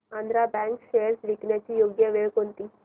Andhra bank shares विकण्याची योग्य वेळ कोणती